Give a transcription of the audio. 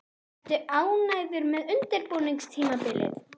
Ertu ánægður með undirbúningstímabilið?